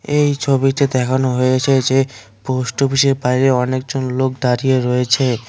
এই ছবিতে দেখানো হয়েছে যে পোষ্টঅফিসের বাইরে অনেকজন লোক দাঁড়িয়ে রয়েছে।